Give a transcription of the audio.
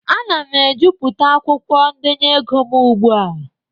Ana m ejuputa akwụkwọ ndenye ego m ugbu a.